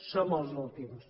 som els últims